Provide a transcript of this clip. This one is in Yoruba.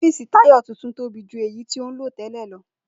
Ó̩fíìsì Táyò̩ tuntun tóbi ju èyí tí ó ń lò té̩lè̩ lo̩